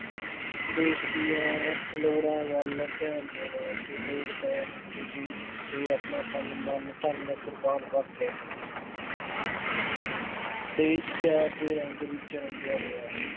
ਦੇਸ਼ ਦੀਆਂ ਲੋੜਾਂ ਵੱਲ ਧਿਆਨ ਦੇਣਾ ਅਤੇ ਲੋੜ ਪੈਣ ਉੱਤੇ ਦੇਸ਼ ਉੱਤੇ ਆਪਣਾ ਤਨ, ਮਨ, ਧਨ ਕੁਰਬਾਨ ਕਰ ਦੇਣਾ। ਦੇਸ਼ ਪਿਆਰ ਦੇ ਰੰਗ ਵਿੱਚ ਰੰਗਿਆ ਹੋਇਆ